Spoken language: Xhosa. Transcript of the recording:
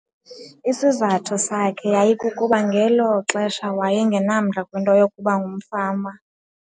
Isizathu sakhe yayikukuba ngelo xesha wayengenamdla kwinto yokuba ngumfama.